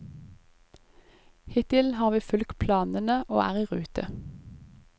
Hittil har vi fulgt planene og er i rute.